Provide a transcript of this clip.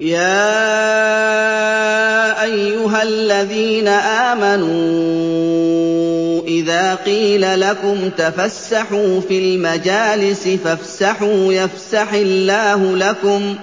يَا أَيُّهَا الَّذِينَ آمَنُوا إِذَا قِيلَ لَكُمْ تَفَسَّحُوا فِي الْمَجَالِسِ فَافْسَحُوا يَفْسَحِ اللَّهُ لَكُمْ ۖ